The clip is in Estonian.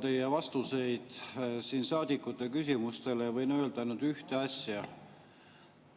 Kuulan teie vastuseid saadikute küsimustele ja võin öelda ainult ühte asja: